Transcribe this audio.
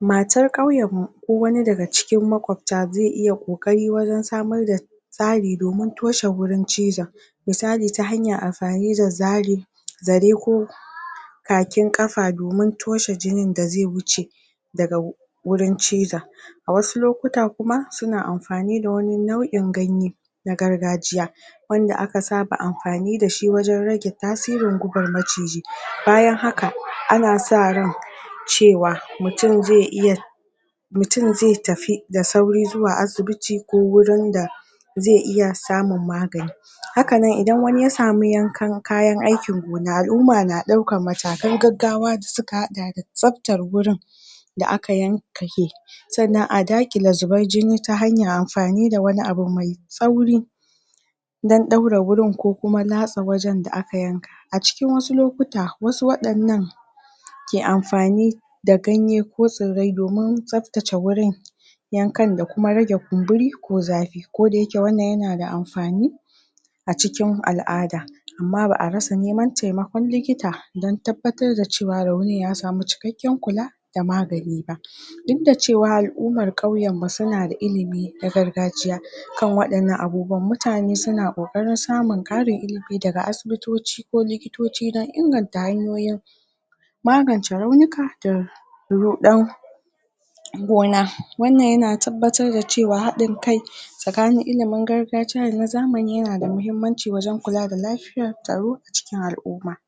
Matar ƙauyar mu ko wani daga cikin maƙwabta ze iya ƙoƙari wajan samar da tsari domin toshe wurin cizon misali ta hanyar amfani da zarin zare ko kakin afa domin toshe jinin da ze wuce daga wu wurin cizon. A wasu lokuta kuma suna amfani da wani nau'in ganye na gargajiya wanda aka saba amfani dashi wajan rage tasirin gubar maciji, bayan haka ana sa ran cewa mutum ze iya mutum ze tafi da sauri zuwa asibiti ko wurin da ze iya samun magani. Haka nan idan wani ya samu yankan kayan aikin gona al'umma na ɗaukar matakan gaggawa da suka haɗa da tsaptar wurin da aka yan kake sannan a dakile zubar jini ta hanyar ampani da wani abu mai tsauri dan ɗaura wurin ko kuma latsa wajan da aka yanka a cikin wasu lokuta wasu waɗannan ke amfani da ganye ko tsirrai domin tsaftace wurin yankan da kuma rage kumburi ko zafi ko da yake wannan yana da amfani a cikin al'ada amma ba'a rasa neman taimakon likita dan tabbatar da cewa raunin ya samu cikaƙen kula da magani ba. Duk da cewa al'umar ƙauyan mu suna da ilimi na gargajiya, kan waɗannan abubuwan mutane suna ƙoƙarin samun ƙarin ilimi daga asibitoci ko likitoci dan inganta hanyoyin magance raunika da ruɗan gona. Wannan yana tabbatar da cewa haɗin kai tsakanin ilimin gargajiya dana zamani yana da mahimmanci wajan kula da lafiyar tsaro a cikin al'umma.